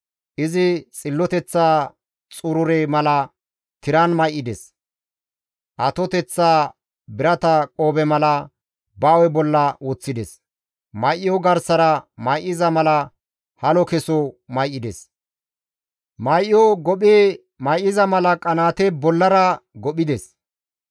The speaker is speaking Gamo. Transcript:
Izi xilloteththa xurure mala tiran may7ides; atoteththaa birata qoobe mala ba hu7e bolla woththides. May7o garsara may7iza mala halo keso may7ides; may7o gophi may7iza mala qanaate bollara gophides.